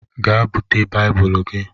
Gee búte baibulu gị!!!